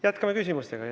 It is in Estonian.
Jätkame küsimustega.